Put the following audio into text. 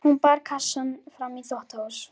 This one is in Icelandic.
Hún bar kassann fram í þvottahús.